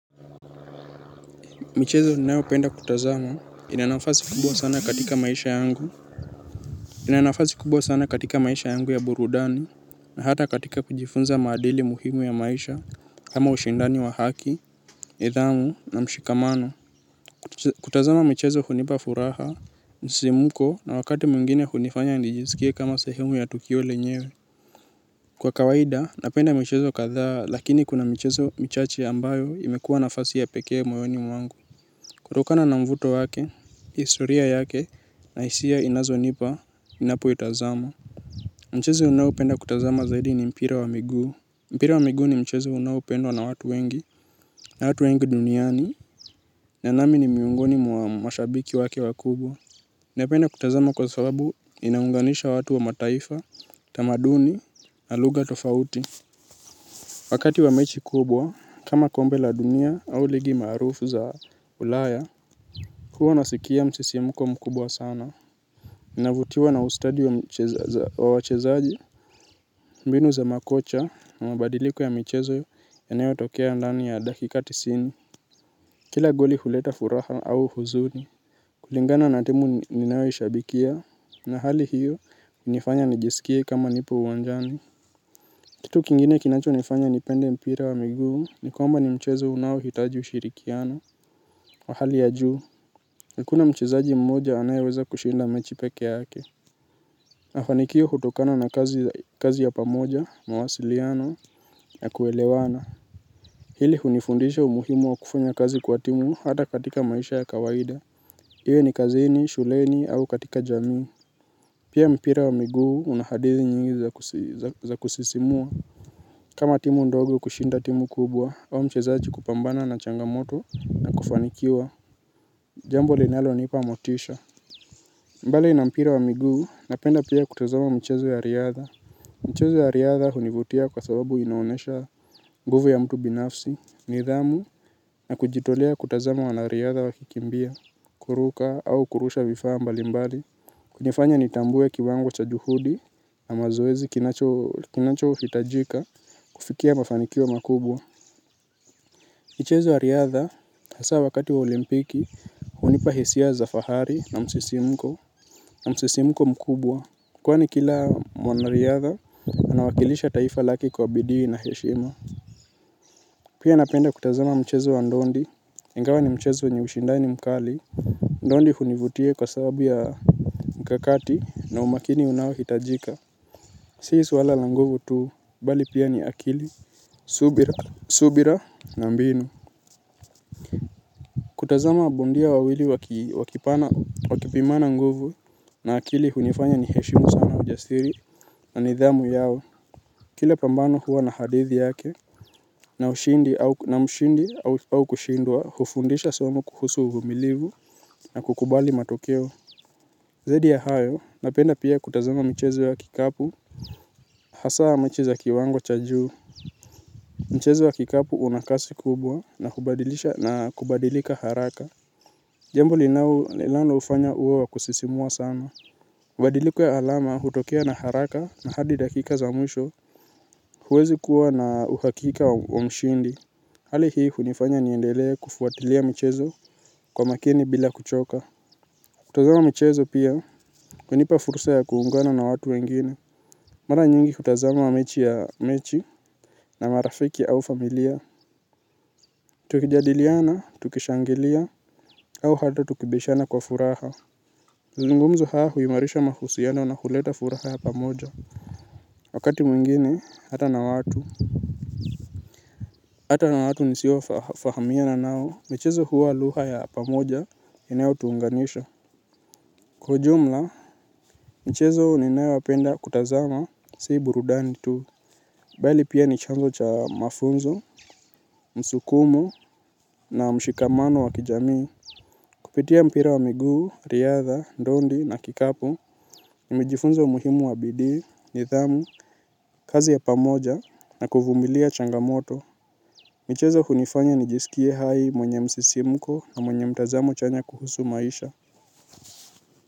Michezo ninayo penda kutazama inanafasi kubwa sana katika maisha yangu ya burudani na hata katika kujifunza maadili muhimu ya maisha kama ushindani wa haki, nidhamu na mshikamano. Kutazama michezo hunipa furaha, msimuko na wakati mwingine hunifanya nijisikie kama sehemu ya tukio lenyewe. Kwa kawaida, napenda michezo kadhaa lakini kuna michezo michache ambayo imekuwa nafasi ya pekee moyoni mwangu. Kutokana na mvuto wake, historia yake na hisia inazo nipa ninapo itazama. Mchezo ninaopenda kutazama zaidi ni mpira wa miguu. Mpira wa miguu ni mchezo unaopendwa na watu wengi. Na watu wengi duniani, na nami ni miongoni mwa mashabiki wake wakubwa napenda kutazama kwa sababu inaunganisha watu wa mataifa, tamaduni, na lugha tofauti. Wakati wa mechi kubwa, kama kombe la dunia au ligi maarufu za ulaya huwa nasikia msisimko mkubwa sana. Navutiwa na ustadi wa wachezaji, mbinu za makocha na mabadiliko ya michezo yanayo tokea ndani ya dakika tisini. Kila goli huleta furaha au huzuni. Kulingana na timu ninayo ishabikia, na hali hiyo, hunifanya nijisikie kama nipo uwanjani. Kitu kingine kinacho nifanya nipende mpira wa miguu, nikwamba ni mchezo unao hitaji ushirikiano. Wa hali ya juu, hakuna mchezaji mmoja anayeweza kushinda mechi peke yake mafanikio hutokana na kazi ya pamoja, mawasiliano, na kuelewana. Hili hunifundisha umuhimu wa kufanya kazi kwa timu hata katika maisha ya kawaida. Iwe ni kazini, shuleni, au katika jamii. Pia mpira wa miguu unahadithi nyingi za kusisimua. Kama timu ndogo kushinda timu kubwa, au mchezaji kupambana na changamoto na kufanikiwa. Jambo linalo nipa motisha. Mbali na mpira wa miguu napenda pia kutazama mchezo ya riadha. Mchezo ya riadha hunivutia kwa sababu inaonyesha nguvu ya mtu binafsi. Nidhamu na kujitolea kutazama wanariadha wa kikimbia kuruka au kurusha vifaa mbali mbali hunifanya nitambue kiwango cha juhudi. Na mazoezi kinacho hitajika kufikia mafanikio makubwa. Michezo ya riadha hasa wakati wa olimpiki. Hunipa hisia za fahari na msisimko. Na msisimko mkubwa kwani kila mwanariadha anawakilisha taifa lake kwa bidii na heshima. Pia napenda kutazama mchezo wa ndondi ingawa ni mchezo wenye ushindani mkali. Ndondi hunivutia kwa sababu ya mkakati na umakini unaohitajika. Si swala la nguvu tu bali pia ni akili subira na mbinu. Kutazama bondia wawili wakipana wakipimana nguvu. Na akili hunifanya ni heshimu sana ujasiri na nidhamu yao. Kile pambano huwa na hadithi yake. Na mshindi au kushindwa hufundisha somo kuhusu uvumilivu na kukubali matokeo. Zaidi ya hayo napenda pia kutazama mchezo ya kikapu. Hasaa mechi za kiwango cha juu mchezo wa kikapu unakasi kubwa na kubadilisha na kubadilika haraka. Jambo linao lilano ufanya uwe wa kusisimua sana ubadiliko ya alama hutokea na haraka na hadi dakika za mwisho. Huwezi kuwa na uhakika wa mshindi. Hali hii hunifanya niendele kufuatilia michezo kwa makini bila kuchoka. Kutazama michezo pia hunipa fursa ya kuungana na watu wengine mara nyingi kutazama mechi ya mechi na marafiki au familia tukijadiliana, tukishangilia au hata tukibishana kwa furaha mazungumzo haya huimarisha mahusiano na huleta furaha ya pamoja. Wakati mwingine hata na watu hata na watu nisio fahamiana nao, michezo huwa lugha ya pamoja inayo tuunganisha. Kwa ujumla, michezo ninayo penda kutazama si burudani tu. Bali pia nichombo cha mafunzo, msukumo na mshikamano wa kijamii. Kupitia mpira wa miguu, riadha, ndondi na kikapu, nimejifunza umuhimu wa bidii, nidhamu, kazi ya pamoja na kuvumilia changamoto. Michezo hunifanya nijisikie hai mwenye msisimuko na mwenye mtazamo chanya kuhusu maisha.